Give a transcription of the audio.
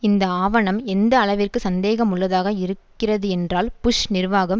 இந்த ஆவணம் எந்தளவிற்கு சந்தேகமுள்ளதாக இருக்கிறதென்றால் புஷ் நிர்வாகம்